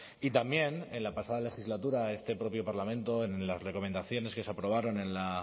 y también en la pasada legislatura este propio parlamento en las recomendaciones que se aprobaron en la